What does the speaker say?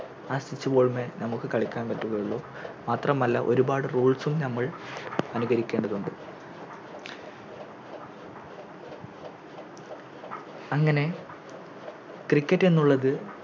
ആ Stitch ball മ്മെ നമുക്ക് കളിക്കാൻ പറ്റുകയുള്ളു മാത്രമല്ല ഒരുപാട് Rules ഉം ഞമ്മൾ അനുകരിക്കേണ്ടതുണ്ട് അങ്ങനെ Cricket എന്നുള്ളത്